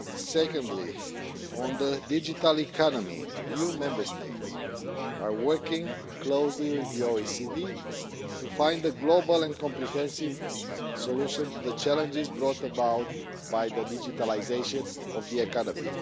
Secondly, on the digital economy, EU Member States are working closely with the OECD to find a global and comprehensive solution to the challenges brought about by the digitalisation of the economy.